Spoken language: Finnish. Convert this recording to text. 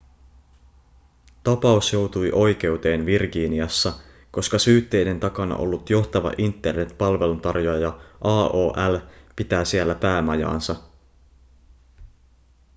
tapaus joutui oikeuteen virginiassa koska syytteiden takana ollut johtava internet-palveluntarjoaja aol pitää siellä päämajaansa